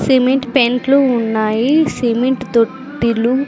cement పెంట్లు ఉన్నాయి cement తొట్టిలు--